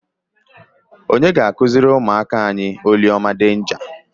Onye ga-akụziri ụmụaka anyị oliọma denja?